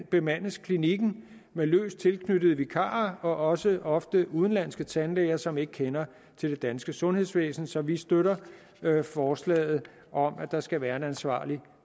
bemandes klinikken med løst tilknyttede vikarer og også ofte udenlandske tandlæger som ikke kender til det danske sundhedsvæsen så vi støtter forslaget om at der skal være en ansvarlig